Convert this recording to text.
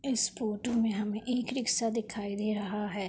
इस फोटू में हमें एक रिक्शा दिखाई दे रहा है।